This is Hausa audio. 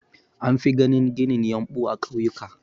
An fi ganin ginin yumɓu a ƙauyuka da.